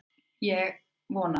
En ég vona það!